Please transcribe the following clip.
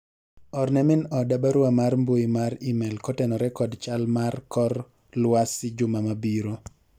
orne min oda barua mar mbui mar email kotenore kod chal mar kor lwasi juma mabiro